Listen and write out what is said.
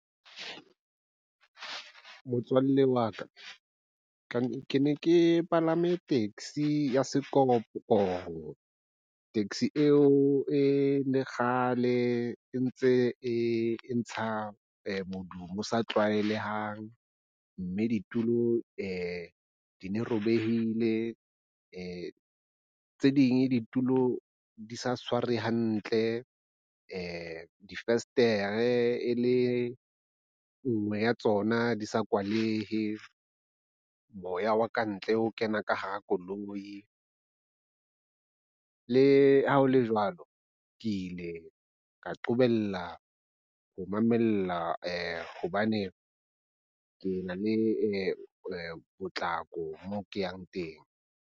Motswalle wa ka ke ne ke palame taxi ya sekorokoro. Taxi eo e le kgale e ntse e ntsha modumo o sa tlwaelehang mme ditulo di ne di robehile, tse ding ditulo di sa tshware hantle, difestere e le nngwe ya tsona di sa kwalehe moya wa ka ntle o kena ka hara koloi. Le ha ho le jwalo, ke ile ka qobella ho mamella hobane ke na le potlako mo ke yang teng.